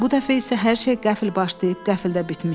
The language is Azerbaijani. Bu dəfə isə hər şey qəfil başlayıb qəfildə bitmişdi.